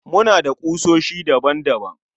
Muna da kusoshi daban daban